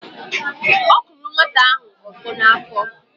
ọ kụrụ nwata ahụ ọkpọ n’afọ